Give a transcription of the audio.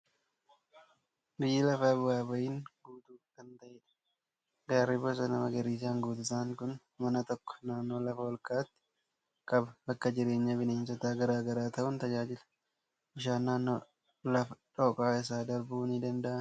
Biyyi lafaa bu'aa ba'iin guutuu kan taatedha. Gaarri bosona magariisaan guutuu ta'an kun mana tokko naannoo lafa ol ka'aatti qaba. Bakka jireenya bineensota garaa garaa ta'uun tajaajila. Bishaan naannoo lafa dhooqaa isaa darbuu ni danda'a.